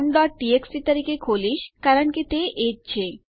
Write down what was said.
હું તે countટીએક્સટી તરીકે ખોલીશ કારણ કે તે એ જ છે